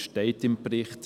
Das steht im Bericht.